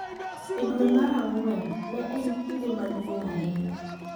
E dwe mar Ang’wen, ne en kinde maduong’ ahinya